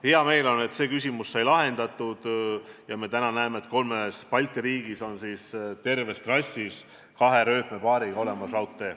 Hea meel on öelda, et see küsimus sai lahendatud, ja täna me näeme, et kolmes Balti riigis on terve trassi ulatuses olemas kahe rööpapaariga raudtee.